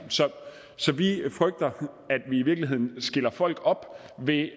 så vi frygter at vi i virkeligheden deler folk op ved